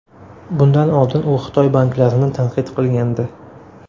Bundan oldin u Xitoy banklarini tanqid qilgandi.